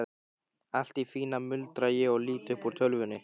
Allt í fína, muldra ég og lít upp úr tölvunni.